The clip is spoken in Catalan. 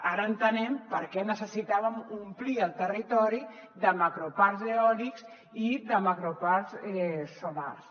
ara entenem per què necessitàvem omplir el territori de macroparcs eòlics i de macroparcs solars